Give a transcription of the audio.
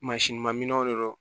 minɛnw de don